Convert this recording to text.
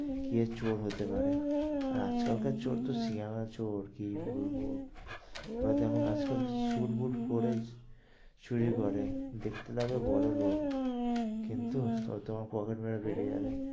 কে চোর হতে পারে, আর আজ কাল কার চোর তো সিয়ানা চোর কি বলবো? হয়তো এমন আজ কাল স্যুটবুট পরে, চুরি করে দেখতে লাগবে বড়োলোক কিন্তু ওই তোমার পকেট মেরে বেরিয়ে যাবে।